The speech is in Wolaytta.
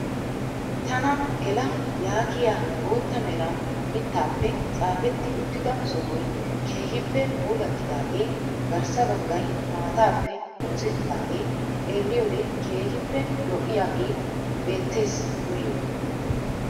Tana gela yaagiyaa bootta meran mittaappe tsaafetti uttida sohoy keehippe puulattidagee garssa baggay maataappe oosettidaagee xeelliyoode keehippe lo'iyaage beettees nuyo.